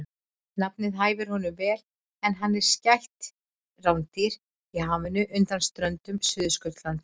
Nafnið hæfir honum vel en hann er skætt rándýr í hafinu undan ströndum Suðurskautslandsins.